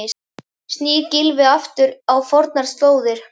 Snýr Gylfi aftur á fornar slóðir?